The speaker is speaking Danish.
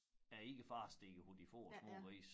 Er ikke i fare stikker hovedet de få små grise